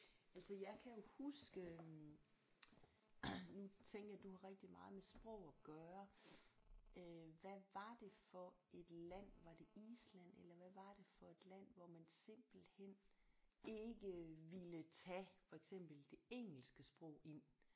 Altså jeg kan jo huske nu tænker jeg du har rigtig meget med sprog at gøre øh hvad var det for et land var det Island eller hvad var det for et land hvor man simpelthen ikke ville tage for eksempel det engelske sprog ind